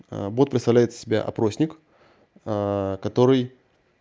бот представляет из себя опросник который